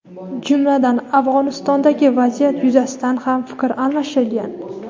jumladan Afg‘onistondagi vaziyat yuzasidan ham fikr almashilgan.